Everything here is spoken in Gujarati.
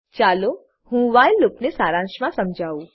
ચાલો હું વ્હાઈલ લૂપને સારાંશમા સમજાવું